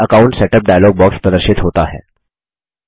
मैल account setup dialog box प्रदर्शित होता है